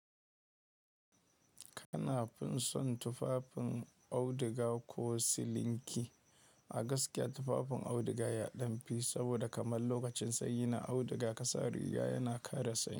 Kana fin son tufafin auduga ko silinki? A gaskiya tufafin auduga yaɗamfi saboda kamar lokacin sanyi na auduga kasa riga yana kare sanyi.